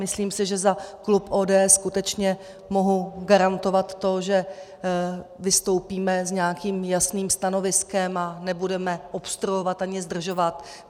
Myslím si, že za klub ODS skutečně mohu garantovat to, že vystoupíme s nějakým jasným stanoviskem a nebudeme obstruovat ani zdržovat.